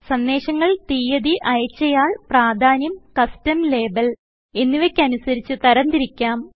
സന്ദേശങ്ങൾ തീയതി അയച്ചആൾ പ്രാധാന്യം കസ്റ്റം ലേബൽ എന്നിവയ്ക്ക് അനുസരിച്ച് തരംതിരിക്കാം